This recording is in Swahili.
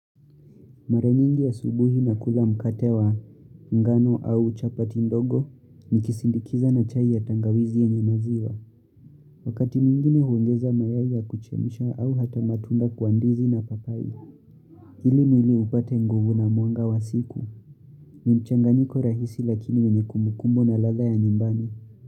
Mara nyingi asubuhi nakula mkate wa ngano au chapati ndogo nikisindikiza na chai ya tangawizi yenye maziwa. Wakati mwingine huongeza mayai ya kuchemsha au hata matunda kwa ndizi na papai. Ili mwili upate nguvu na mwanga wa siku. Ni mchanganiko rahisi lakini wenye kumbukumbu na ladha ya nyumbani.